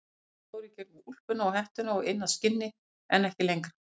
Þau fóru í gegnum úlpuna og hettuna og inn að skinni en ekki lengra.